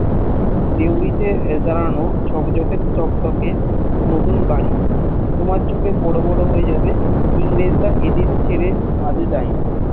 দেওরি টে দাড়ান ঝকজকে চকচকে নতুন বাড়ি কমার ছকে বড় বড় হয়ে যাবে ইংরেজরা এদের ছেড়ে এখন যায়নি